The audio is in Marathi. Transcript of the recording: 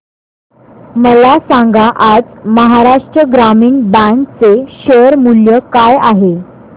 मला सांगा आज महाराष्ट्र ग्रामीण बँक चे शेअर मूल्य काय आहे